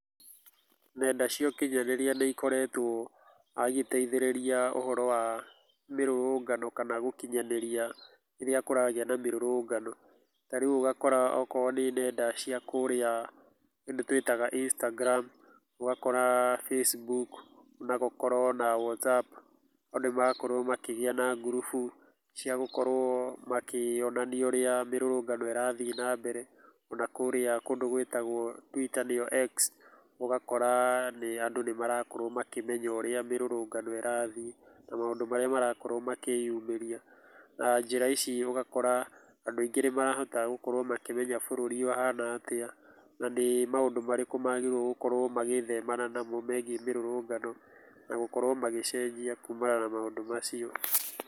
Nenda cia ũkinyanĩrĩa nĩikoretwo igĩteithĩrĩria ũhoro wa mĩrũrũngano kana gũkinyanĩria rĩrĩa kũragia na mĩrũrũngano, tarĩu ũgakora oko nĩ nenda cia kũrĩa kũndũ twĩtaga Instagram, ũgakora Facebook nagũkorwo na Whatsapp andu nĩ marakorwo makĩgĩa na ngurubu cia gũkorwo makĩonania ũrĩa mĩrũrũngano ĩrathiĩ na mbere na kũrĩa kũndũ gwĩtagwo Twitter nĩyo X. Ũgakora atĩ andũ nĩmarakorwo makĩmenya ũrĩa mĩrũrũngano irathiĩ na maũndũ marĩa marakorwo makĩyumĩria na njĩra ici ugakora andũ aingĩ nĩ marahota gũkorwo makĩmenya bururi uhana atĩa na nĩ maũndũ marĩkũ magĩrĩirwo gũkorwo magĩthemana namo megiĩ mĩrũrũngano na gũkorwo magĩcenjia kuumana na maũndũ macio.